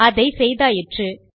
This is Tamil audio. அதை செய்தாயிற்று